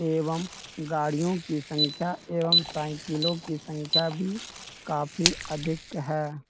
एवं गाड़ियों की संख्या एवं साईकलों की संख्या भी काफी अधिक हैं ।